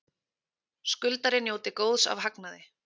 Skuldari njóti góðs af hagnaði